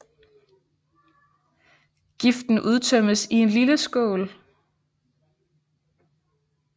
Giften udtømmes i en lille skål